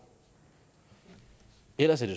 ellers er